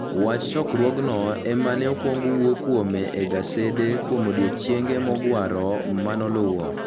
Wach chokruogno ema ne okwong wuo kuome e gasede kuom odiechienge mogwaro ma noluwo.